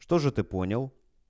что же ты понял